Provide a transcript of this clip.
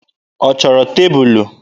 Ọ chọrọ tebụlụ?